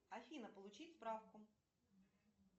афина получить справку